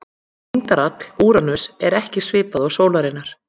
Þyngdarafl Úranusar er ekki svipað og sólarinnar.